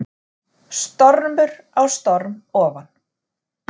Stormur á storm ofan